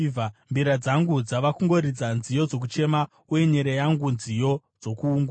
Mbira dzangu dzava kungoridza nziyo dzokuchema, uye nyere yangu nziyo dzokuungudza.